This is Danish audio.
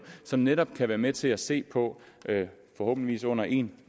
som netop kan være med til at se på forhåbentlig under en